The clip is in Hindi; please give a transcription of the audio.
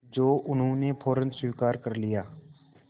जो उन्होंने फ़ौरन स्वीकार कर लिया